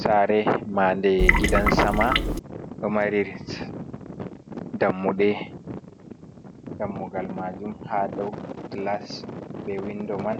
Saare marde gidan sama ɗo mari dammuɗe dammugal maajum ha dou gilas be windo man